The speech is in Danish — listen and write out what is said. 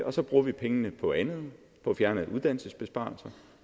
og så bruger vi pengene på andet at fjerne uddannelsesbesparelser og